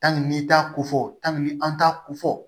n'i t'a ko fɔ an t'a ko fɔ